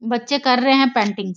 बच्चे कर रहे हैं पेंटिंग ।